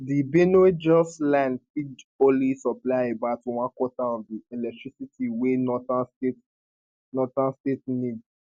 di benuejos line fit only supply about onequarter of di electricity wey northern states northern states need